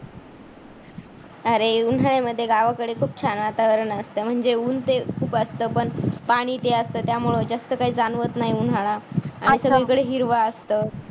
अरे उन्हाळ्यामध्ये गावाकडे खूप छान वातावरण असतं म्हणजे ऊन ते खूप असतं. पण पाणी ते असतं. त्यामुळे जास्त काही जाणवत नाही उन्हाळा. आणि सगळीकडे हिरव असतं.